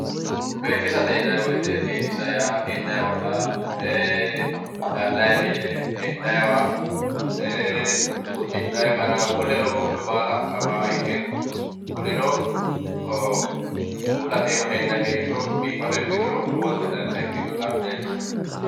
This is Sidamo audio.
biifisate yinay woyte biifisa yaa hee'nayi ollaa gallayi mine hee'naywa uddi'nayi gara woleoo kuri baala afaaha ikke kunino uullate iima hee'nayi heeshsho biifaado ikkituro lowonta dancha ikkinota leellishshano